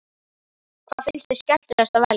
Hvað finnst þér skemmtilegast að velja?